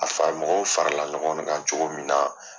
A fara mɔgɔw farala ɲɔgɔn kan cogo min na